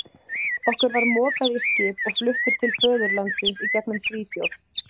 Okkur var mokað í skip og fluttir til föðurlandsins í gegnum Svíþjóð.